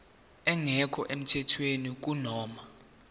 engekho emthethweni kunoma